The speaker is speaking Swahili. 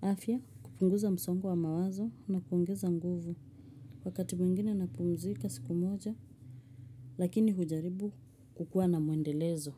afya kupunguza msongo wa mawazo na kuongeza nguvu. Kwa wakati mwingine napumzika siku moja, lakini hujaribu kukua na muendelezo.